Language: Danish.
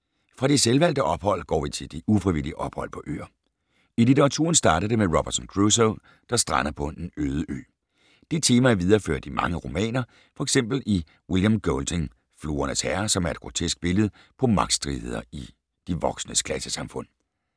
Fra de selvvalgte ophold går vi til de ufrivillige ophold på øer. I litteraturen startede det med Robinson Crusoe, der strander på en øde ø. Det tema er videreført i mange romaner, f.eks. i William Goldings Fluernes herre, som er et grotesk billede på magtstridigheder i de voksnes klassesamfund.